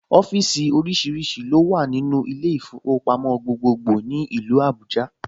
Ọ́fíìsì oríṣiríṣi ló wà nínú ilé ìfowópamọ́ gbogbogbòò ní ìlú Abuja